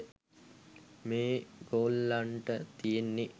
මේ ගොල්ලොන්ට තියෙන්නේ